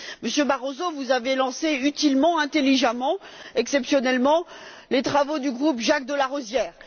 Monsieur Barroso, vous avez lancé utilement, intelligemment, exceptionnellement, les travaux du groupe Jacques de Larosière.